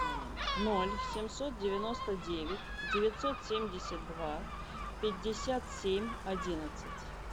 ноль семьсот девяносто девять девятьсот семьдесят два пятьдесят семь одиннадцать